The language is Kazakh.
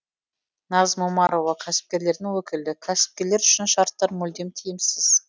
назым омарова кәсіпкерлердің өкілі кәсіпкерлер үшін шарттар мүлдем тиімсіз